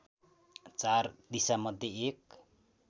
चार दिशामध्ये एक